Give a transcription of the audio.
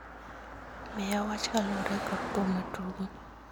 Miya wach kaluwore kod thum matugo